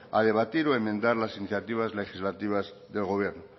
a debatir o a enmendar las iniciativas legislativas del gobierno